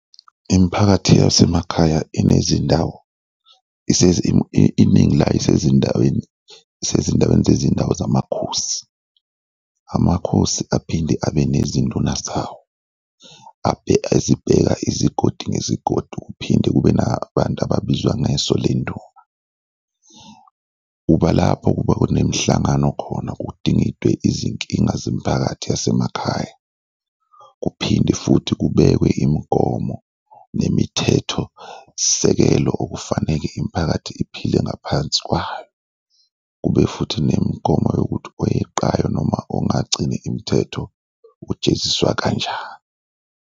Imiphakathi yasemakhaya inezindawo iningi layo isezindaweni, isezindaweni zezindawo zamakhosi, amakhosi aphinde abe nezinduna zawo ezibheka izigodi ngezigodi kuphinde kube nabantu ababizwa ngeso lenduna. Uba lapho kuba kunemihlangano khona kudingidwe izinkinga zemiphakathi yasemakhaya kuphinde futhi kubekwe imigomo nemithetho sisekelo okufaneke imiphakathi iphile ngaphansi kwayo kube futhi nemigomo yokuthi oyeqayo noma ongagcini imithetho ujeziswa kanjani.